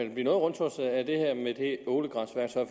noget rundtosset af det her med det ålegræsværktøj